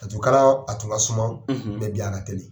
Laturu kalan a tun ka suma bi ka teli.